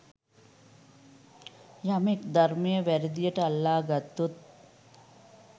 යමෙක් ධර්මය වැරදියට අල්ලා ගත්තොත්